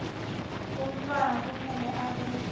umntfwana kumele abe